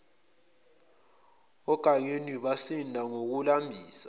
ogageni basinda ngokulambisa